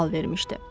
deyə sual vermişdi.